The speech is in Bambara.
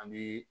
An bi